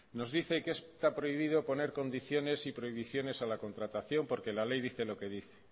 nos dice que está prohibido poner condiciones y prohibiciones a la contratación porque la ley dice lo que dice